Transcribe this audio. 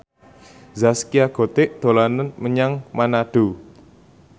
Zaskia Gotik dolan menyang Manado